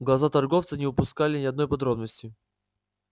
глаза торговца не упускали ни одной подробности